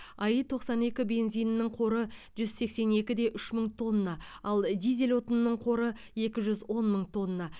аи тоқсан екі бензинінің қоры жүз сексен екі де үш мың тонна ал дизель отынының қоры екі жүз он мың тонна